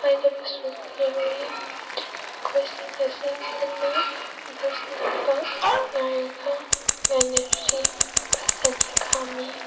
ꯃꯈꯣꯢ ꯁꯤꯡ ꯑꯁꯤ ꯄꯨꯟꯅ ꯕꯥꯁ ꯂꯛꯄ ꯉꯥꯢꯔꯒ ꯉꯥꯢꯅꯔꯤ ꯕꯥꯁ ꯑꯅꯤ ꯈꯝꯃꯤ꯫